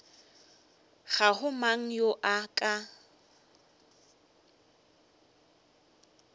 ga go mang yo a